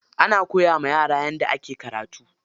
Ana koya wa yara yadda ake karatu.